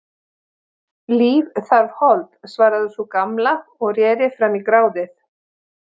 Líf þarf hold, svaraði sú gamla og reri fram í gráðið.